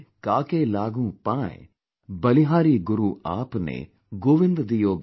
बलिहारीगुरुआपने, गोविन्ददियोबताय"||